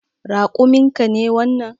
Raƙumin ka ne wannan?